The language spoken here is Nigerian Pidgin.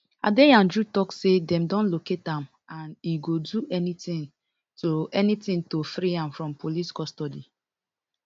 adeyanju tok say dem don locate am and e go do anytin to anytin to free am from police custody